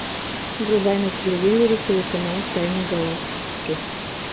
врубай на телевизоре телеканал тайны галактики